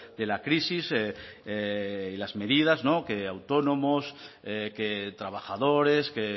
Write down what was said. de la crisis y las medidas que autónomos que trabajadores que